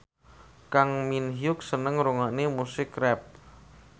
Kang Min Hyuk seneng ngrungokne musik rap